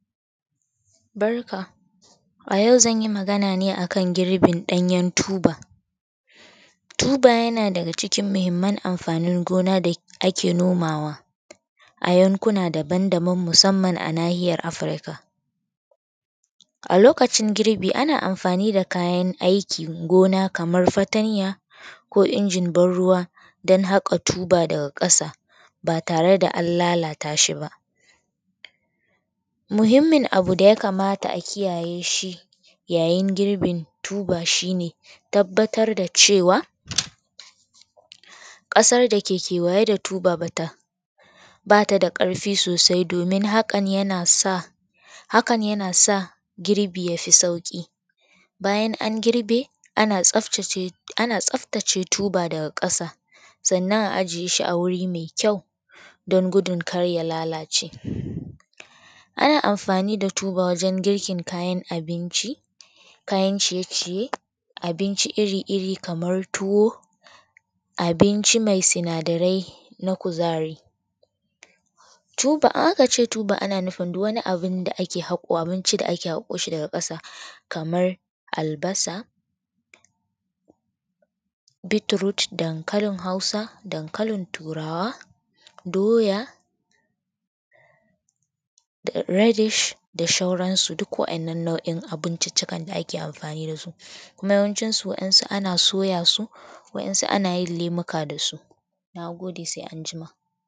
Barka a yau zan yi magana ne akan girbin ɗanyen tuba. Tuba yana daga cikin muhimman amfanin gona da ake nomawa a yankuna daban musamman a nahiyar Afirka. A lokacin girbi ana amfani da kayan aikin gona kamar fatanya ko inji noma don haƙa tuba daga ƙasa b tare da an lalata shi ba. Muhimmin abu da ya kamata a kiyaye shi yayin girbin tuba shi ne, tabbatar da cewar ƙasar da ke kewaye da ruba ba ta da ƙarfi sosai domin hakan yana sa girbi ya fo sauki. Bayan an girbe ana tsaftace tuba daga ƙasa sannnan a sama wuri mai ƙyau don gidun kar ya lalace. Ana amfani da tuba wajen girkin kayan abinci, kayn ciye-ciye abinci iri-iri kamar tuwa, abinci mai sinadarai na kuzari. Idan a ka ce tuba ana nufin duk wani abu da ake haƙo shi daga ƙasa kamar albasa, dabkalin Hausa, dankalin turawa, doya da reddish da sauranasu. Duk waɗannan nau'in abinci ne da ake amfani da su kuma yawancinsu wasu ana soya su wa kuma ana lemuka da su. Na gide sai anjima